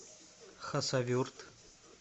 хасавюрт